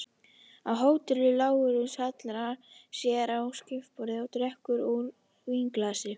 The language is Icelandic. Á hótelinu: Lárus hallar sér að skrifborðinu og drekkur úr vínglasi.